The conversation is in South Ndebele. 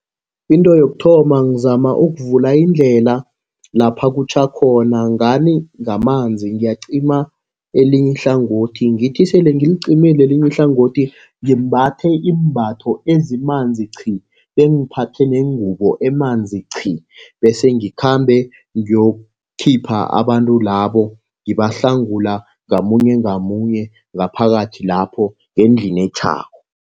Into yokuthoma ngizama ukuvula indlela lapha kutjha khona ngani, ngamanzi. Ngiyacima elinye ihlangothi, ngithi sele ngiliqimile elinye ihlangothi ngimbathe iimbatho ezinamanzi qhi, bengiphathe nengubo emanzi qhi bese ngikhambe ngiyokukhipha abantu labo ngibahlangula ngamunye ngamunye ngaphakathi lapho ngendlini etjhako.